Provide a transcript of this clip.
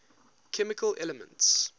chemical elements